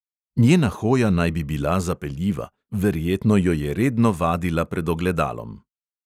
Njena hoja naj bi bila zapeljiva, verjetno jo je redno vadila pred ogledalom.